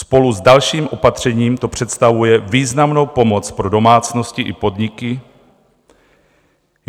Spolu s dalším opatřením to představuje významnou pomoc pro domácnosti i podniky.